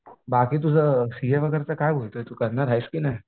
बाकी तुझं सीए वगैरे चं काय होतंय तू करणार आहेस की नाही?